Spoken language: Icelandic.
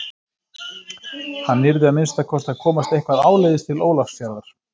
Hann yrði að minnsta kosti að komast eitthvað áleiðis til Ólafsfjarðar.